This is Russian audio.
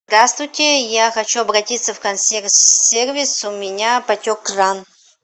здравствуйте я хочу обратиться в консьерж сервис у меня потек кран